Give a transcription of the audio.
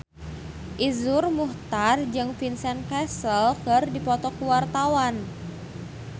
Iszur Muchtar jeung Vincent Cassel keur dipoto ku wartawan